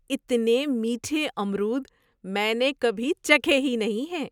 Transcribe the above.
اتنے میٹھے امرود میں نے کبھی چکھے ہی نہیں ہیں۔